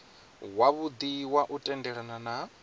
wavhudi wa u tendelana na